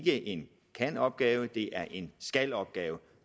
er en kan opgave det er en skal opgave